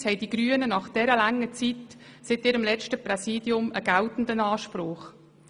Einerseits haben die Grünen nach der langen Zeit seit ihrem letzten Präsidium einen geltenden Anspruch.